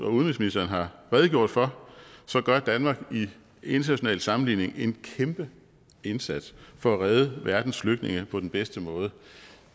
og udenrigsministeren har redegjort for gør danmark i international sammenligning en kæmpe indsats for at redde verdens flygtninge på den bedste måde